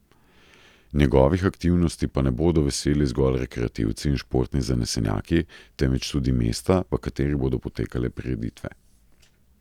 Njegovih aktivnosti pa ne bodo veseli zgolj rekreativci in športni zanesenjaki, temveč tudi mesta, v katerih bodo potekale prireditve.